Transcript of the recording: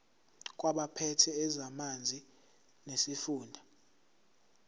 kwabaphethe ezamanzi nesifunda